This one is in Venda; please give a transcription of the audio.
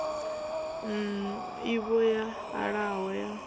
n ivho yo alaho ya